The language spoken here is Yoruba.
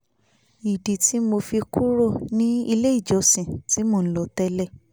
ìdí tí mo fi kúrò ní ilé ìjọsìn tí mò ń lọ tẹ́lẹ̀